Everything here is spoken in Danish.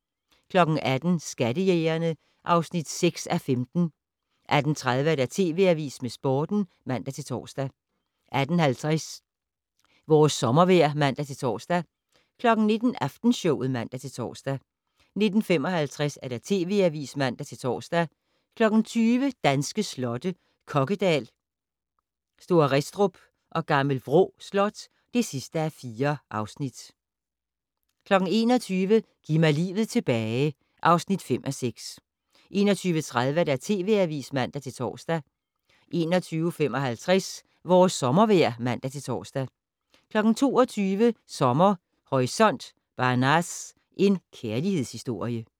18:00: Skattejægerne (6:15) 18:30: TV Avisen med Sporten (man-tor) 18:50: Vores sommervejr (man-tor) 19:00: Aftenshowet (man-tor) 19:55: TV Avisen (man-tor) 20:00: Danske slotte: Kokkedal, St. Restrup og Gl. Vrå Slot (4:4) 21:00: Giv mig livet tilbage (5:6) 21:30: TV Avisen (man-tor) 21:55: Vores sommervejr (man-tor) 22:00: Sommer Horisont: Banaz - en kærlighedshistorie